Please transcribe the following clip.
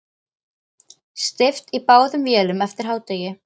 Steypt í báðum vélum eftir hádegi.